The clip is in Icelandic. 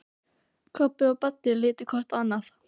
Kobbi og Baddi litu hvor á annan.